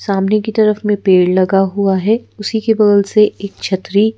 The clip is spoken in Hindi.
सामने की तरफ में पेड़ लगा हुआ है उसी के बगल से एक छतरी--